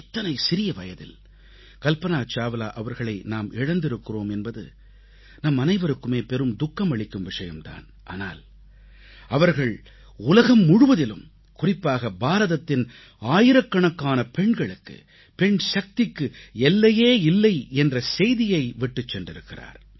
இத்தனை சிறிய வயதில் கல்பனா சாவ்லா அவர்களை நாம் இழந்திருக்கிறோம் என்பது நம் அனைவருக்குமே பெரும் துக்கம் அளிக்கும் விஷயம் தான் ஆனால் அவர்கள் உலகம் முழுவதிலும் குறிப்பாக பாரதத்தின் ஆயிரக்கணக்கான பெண்களுக்கு பெண்சக்திக்கு எல்லையே இல்லை என்ற செய்தியை விட்டுச் சென்றிருக்கிறார்